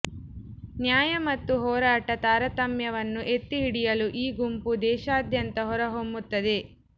ನ್ಯಾಯ ಮತ್ತು ಹೋರಾಟ ತಾರತಮ್ಯವನ್ನು ಎತ್ತಿಹಿಡಿಯಲು ಈ ಗುಂಪು ದೇಶಾದ್ಯಂತ ಹೊರಹೊಮ್ಮುತ್ತದೆ